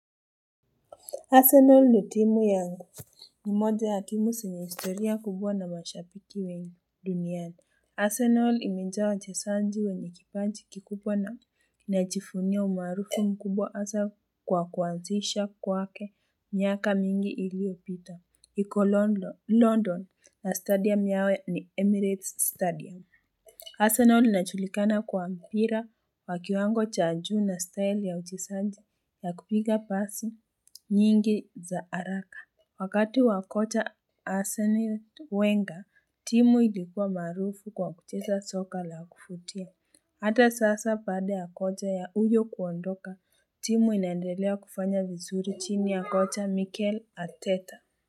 Arsenal ni timu yangu ni moja ya timu zenye historia kubwa na mashabiki wengi duniani. Arsenal imejaa wachezanji wenye kipanji kikubwa na inajiivunia umaarufu mkubwa hasa kwa kuanzisha kwake miaka mingi iliyopita. Iko London na stadium yao ni Emirates Stadium. Arsenal inajulikana kwa mpira wa kiwango cha juu na style ya uchezaji ya kupiga basi nyingi za haraka. Wakati wakocha Arsen Wenga, timu ilikua maarufu kwa kucheza soka la kuvutia. Hata sasa baada ya kocha ya huyo kuondoka, timu inaendelea kufanya vizuri chini ya kocha Mikel Ateta.